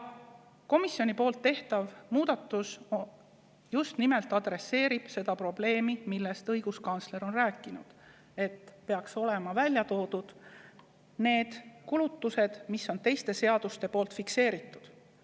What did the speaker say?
Komisjoni tehtav muudatus just nimelt selle probleemiga, millest õiguskantsler on rääkinud – peaks olema välja toodud need kulutused, mis on teistes seadustes fikseeritud.